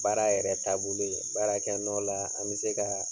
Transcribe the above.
Baara yɛrɛ taabolo ye, baara kɛ nɔ la, an mi se ka